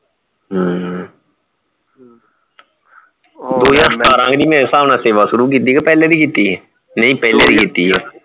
ਹਮ ਦੋ ਹਜਾਰ ਸਤਾਰਹ ਵੀ ਮੇਰੇ ਹਿਸਾਬ ਨਾਲ ਸੇਵਾ ਸ਼ੁਰੂ ਕੀਤੀ ਹੈ ਕਿ ਪਹਿਲੇ ਭੀ ਕੀਤੀ ਹੈ ਨਹੀਂ ਪਹਿਲੇ ਭੀ ਕੀਤੀ ਹੈ